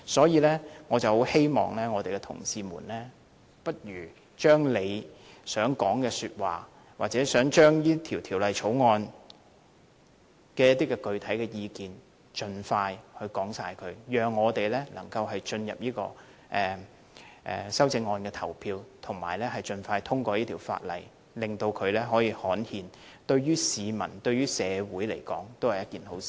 因此，我希望同事們不如把他們所有想說的話或對這項《條例草案》想提出的具體意見盡快說出來，讓我們能進入修正案的表決階段，盡快通過這項《條例草案》，令它可以刊憲，因為這樣對市民和社會也是一件好事。